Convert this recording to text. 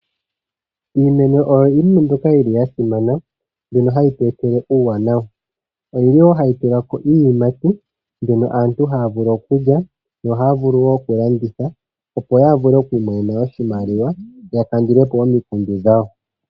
Iimeno oyo iinima mbyoka yili ya simana mbyono hayi tweetele uuwanawa. Oyi li wo hayi tulako iiyimati mbyono aantu haya vulu okulya yo ohaya vulu wo okulanditha opo ya vule okwiimonena oshimaliwa ya kandule po omikundu dhawo.